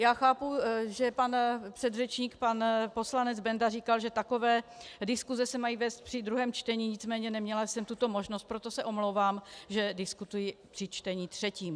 Já chápu, že můj předřečník pan poslanec Benda říkal, že takové diskuse se mají vést při druhém čtení, nicméně neměla jsem tuto možnost, proto se omlouvám, že diskutuji při čtení třetím.